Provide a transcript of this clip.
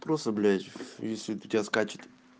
просто блять если у тебя скачет